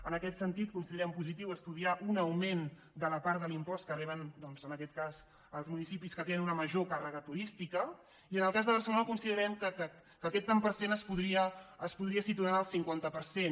en aquest sentit considerem positiu estudiar un augment de la part de l’impost que reben en aquest cas els municipis que tenen una major càrrega turística i en el cas de barcelona considerem que aquest tant per cent es podria situar en el cinquanta per cent